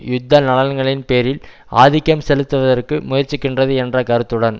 யுத்த நலன்களின் பேரில் ஆதிக்கம் செலுத்துவதற்கு முயற்சிக்கின்றது என்ற கருத்துடன்